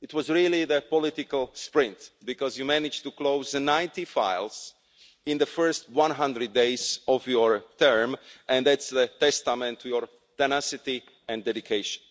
It was really a political sprint because you managed to close 90 files in the first 100 days of your term, and that's a testament to your tenacity and dedication.